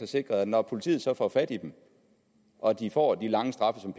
sikret at når politiet så får fat i dem og de får de lange straffe som